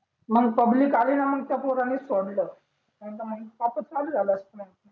मग पब्लिक आली ना त त्या पोराले सोडलं नाही त मंग वापस चालू झाला असता मग